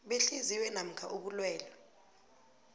behliziyo namkha ubulwelwe